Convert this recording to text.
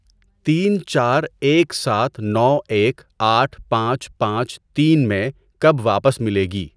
تین چار ایک سات نو ایک آٹھ پانچ پانچ تین میں کب واپس مِلے گی؟